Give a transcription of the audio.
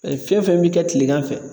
fɛn fɛn bɛ kɛ tilegan fɛ.